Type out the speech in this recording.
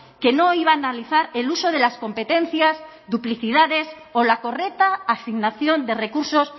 que no iba a analizar el uso de las competencias duplicidades o la correcta asignación de recursos